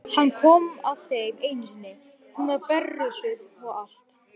Hann kom að þeim einu sinni, hún var berrössuð og allt.